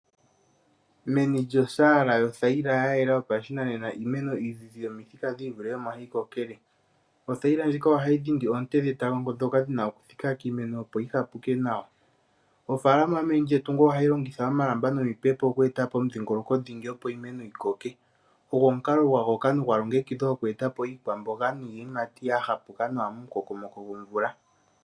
Meni lyosaala yothayila ya yela yopashinanena iimeno iizizi yomithika dhi ivule omo hayi kokele. Othayila ndjika ohayi dhindi oonte dhetango ndhoka dhi na okuthika kiimeno, opo yi hapuke nawa. Ofaalama meni lyetungo ohayi longitha omalamba nomipepo oku eta po omudhingoloko dhingi, opo iimeno yi koke. Ogo omukalo gwa gooka nogwalongekidhwa oku eta po iikwamboga niiyimati ya hapuka nawa mo mu kokomoko gomvula.